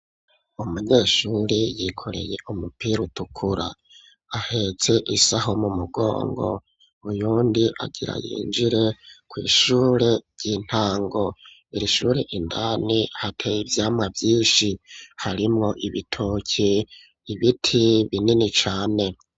umunyeshuri yikoreye umupira utukura ahetse isaho mu mugongo uyundi agira yinjire kw,ishure ry'intango irishure indani hateye ivyama vyinshi harimo ibitoki ibiti binini cane